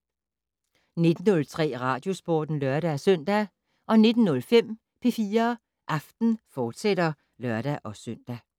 19:03: Radiosporten (lør-søn) 19:05: P4 Aften, fortsat (lør-søn)